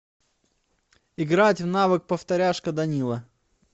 играть в навык повторяшка данила